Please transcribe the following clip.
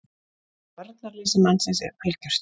VARNARLEYSI mannsins er algjört.